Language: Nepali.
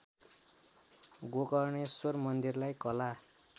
गोकर्णेश्वर मन्दिरलाई कला